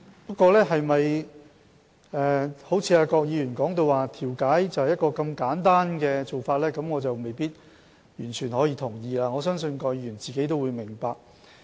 不過，調解是否如郭議員所說，是很簡單的做法，我未必完全同意，而我相信郭議員自己也明白。